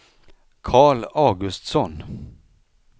Carl Augustsson